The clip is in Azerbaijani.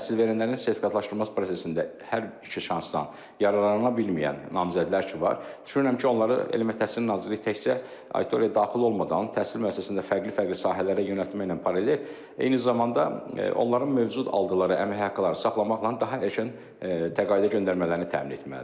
Təhsil verənlərin sertifikatlaşdırması prosesində hər iki şansdan yararlana bilməyən namizədlər ki var, düşünürəm ki, onları Elmə Təhsil Nazirliyi təkcə auditoriyaya daxil olmadan, təhsil müəssisəsində fərqli-fərqli sahələrə yönəltməklə paralel, eyni zamanda onların mövcud aldığı əmək haqqları saxlamaqla daha erkən təqaüdə göndərmələrini təmin etməlidir.